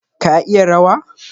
Ka iya rawa?